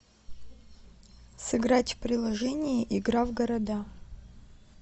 сыграть в приложение игра в города